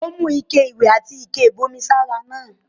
Ó mú ike-iléwẹ̀ àti ike-ìbomi sára náà.